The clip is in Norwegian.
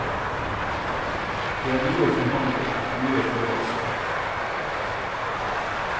Det er mye forhandling, mye følelser.